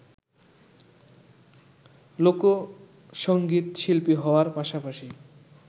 লোকসংগীতশিল্পী হওয়ার পাশাপাশি